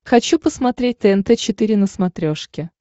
хочу посмотреть тнт четыре на смотрешке